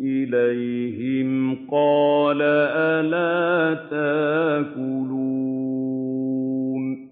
إِلَيْهِمْ قَالَ أَلَا تَأْكُلُونَ